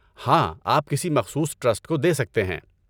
ہاں، آپ کسی مخصوص ٹرسٹ کو دے سکتے ہیں۔